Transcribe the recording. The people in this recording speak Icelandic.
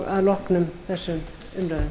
að loknum þessum umræðum